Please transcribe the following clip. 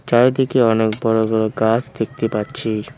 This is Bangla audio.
চারিদিকে অনেক বড় বড় গাছ দেখতে পাচ্ছি।